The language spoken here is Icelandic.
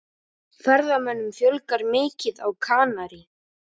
Ferðamönnum fjölgar mikið á Kanarí